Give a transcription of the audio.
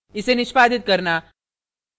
इसे निष्पादित करना